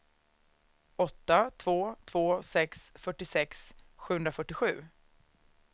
åtta två två sex fyrtiosex sjuhundrafyrtiosju